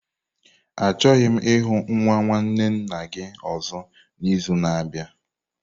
Achọghị m ịhụ nwa nwanne nna gị ọzọ n'izu na-abịa!